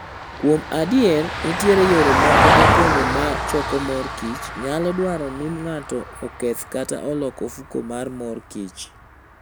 Kuom adier, nitie yore moko mopondo ma choko mor kich nyalo dwaro ni ng'ato oketh kata olok ofuko mar mor kich.